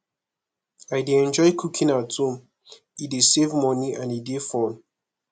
i dey enjoy cooking at home e dey save money and e dey fun